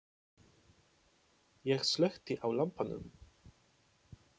Ég slökkti á lampanum.